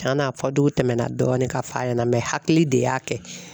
Cɛn na a fɔdugu tɛmɛna dɔɔnin ka f'a ɲɛna hakili de y'a kɛ.